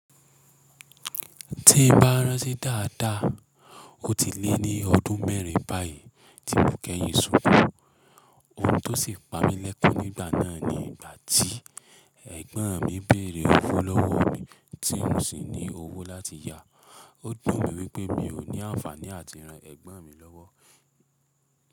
Tí n bá rán ti dáadáa, ó ti lé ní ọdún mẹ́rin báyìí tí mo kẹ́yìn ṣukú. Ohun tó sì pa mí lẹ́kọ̀ọ́ nígbà náà ni ìgbà tí ẹ̀gbọ́n mi béèrè owó lọ́wọ́ mi, tí mò sì ní owó láti yá. Ó dùn mí wípé mi ò ní ànfààní áti ràn ègbón mi lówó.